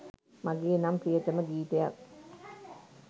මගේ නම් ප්‍රියතම ගීතයක්.